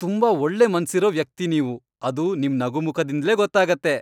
ತುಂಬಾ ಒಳ್ಳೆ ಮನ್ಸಿರೋ ವ್ಯಕ್ತಿ ನೀವು, ಅದು ನಿಮ್ ನಗುಮುಖದಿಂದ್ಲೇ ಗೊತ್ತಾಗತ್ತೆ.